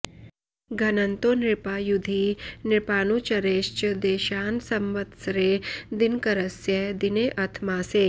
घ्नन्तो नृपा युधि नृपानुचरैश्च देशान् संवत्सरे दिनकरस्य दिनेऽथ मासे